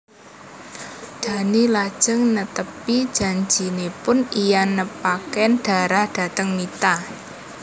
Dhani lajeng netepi janjinipun lan nepangaken Dara dhateng Mita